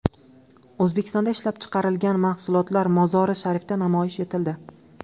O‘zbekistonda ishlab chiqarilgan mahsulotlar Mozori-Sharifda namoyish etildi.